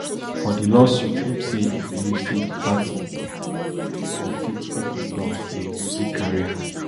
for di lawsuit im say im believe say di party for fit open doors to a music career